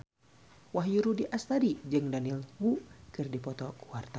Wahyu Rudi Astadi jeung Daniel Wu keur dipoto ku wartawan